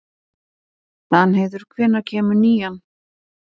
Danheiður, hvenær kemur nían?